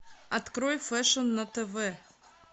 открой фэшн на тв